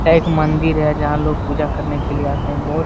यहाँ एक मंदिर है जहां लोग पूजा करने के लिए आते है ।